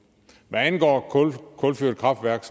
hvad angår kulkraftværk